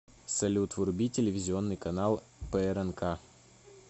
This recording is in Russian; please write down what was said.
салют вруби телевизионный канал прнк